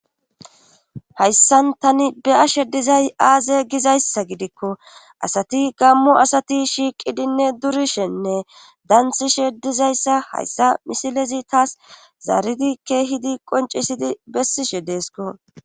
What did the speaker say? Hayssan tani beyashe dizay aaze gizayssa gidikko asati gammu asati shiiqidinne durishenne dansishe dizayssa hayssa misilezi taas zaaridi keehidi qoncisidi bessishe deesko.